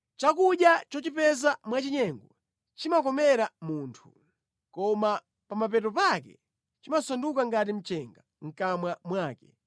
Chakudya chochipeza mwachinyengo chimukomera munthu, koma pa mapeto pake chimasanduka ngati mchenga mʼkamwa mwake.